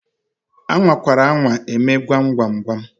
A nwakwara anwa eme gwam gwam gwam!